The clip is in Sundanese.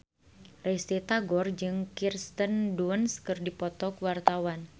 Risty Tagor jeung Kirsten Dunst keur dipoto ku wartawan